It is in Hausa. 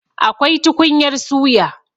Akwai tukunyar suya.